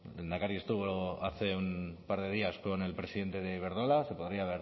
el lehendakari estuvo hace un par de días con el presidente de iberdrola se podría